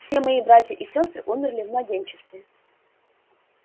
все мои братья и сёстры умерли в младенчестве